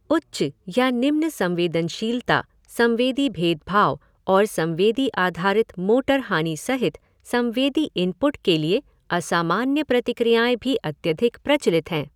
उच्च या निम्न संवेदनशीलता, संवेदी भेदभाव और संवेदी आधारित मोटर हानि सहित संवेदी इनपुट के लिए असामान्य प्रतिक्रियाएँ भी अत्यधिक प्रचलित हैं।